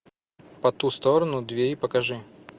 по ту сторону двери покажи